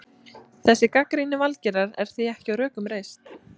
Þessi gagnrýni Valgerðar er því ekki á rökum reist.